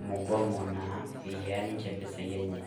emugomo naa eiyaa ninche mpesaii enye.